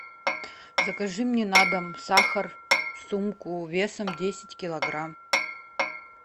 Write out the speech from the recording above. закажи мне на дом сахар сумку весом десять килограмм